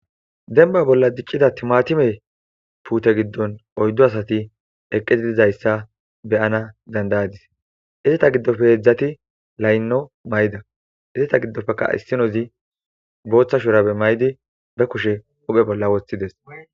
Denba bolla diccida timatime puute giddon oyddo asati eqqezi dizayssa beyana dandayadis izeta giddofe eedzdzati laynno mayda izeta giddopfeka issinozi booththashurabe maydi be kushe uphe bolla woththides.